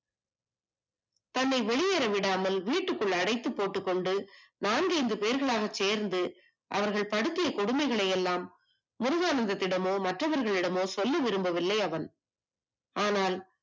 தன்னை வெளியேறவிடாமல் வீட்டில் அடைத்து போட்டுக் கொண்டு நான்கு ஐந்து பேர்களாக சேர்ந்து அவர்கள் படுத்திய கொடுமையை எல்லாம் முருகானந்தத்திடமோ சொல்ல விரும்பவில்லை அவன் ஆனால்